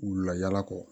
Wula yala kɔ